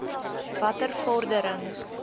watter vordering